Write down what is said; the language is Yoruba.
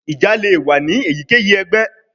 Ija le wa ni eyikeyi ẹgbẹ